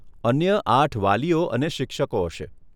અન્ય આઠ વાલીઓ અને શિક્ષકો હશે.